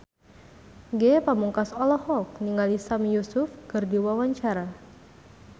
Ge Pamungkas olohok ningali Sami Yusuf keur diwawancara